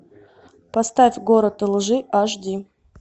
поставь город лжи аш ди